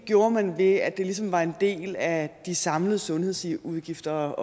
gjorde man ved at det ligesom var en del af de samlede sundhedsudgifter